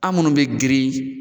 An minnu bɛ girin